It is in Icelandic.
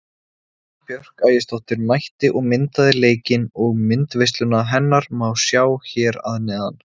Eva Björk Ægisdóttir mætti og myndaði leikinn og myndaveisluna hennar má sjá hér að neðan.